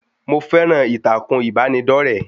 Mo fẹ́ran ìtàkùn ìbánidọ́rẹ̀ẹ́